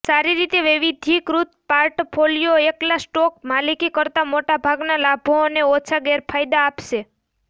સારી રીતે વૈવિધ્યીકૃત પોર્ટફોલિયો એકલા સ્ટોક માલિકી કરતાં મોટા ભાગના લાભો અને ઓછા ગેરફાયદા આપશે